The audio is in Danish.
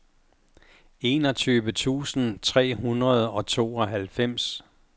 enogtyve tusind tre hundrede og tooghalvfems